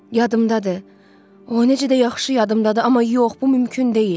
Yadımdadır, o necə də yaxşı yadımdadır, amma yox, bu mümkün deyil.